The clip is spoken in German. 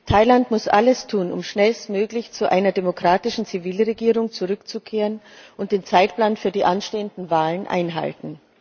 Thailand muss alles tun, um schnellstmöglich zu einer demokratischen Zivilregierung zurückzukehren, und den Zeitplan für die anstehenden Wahlen einhalten.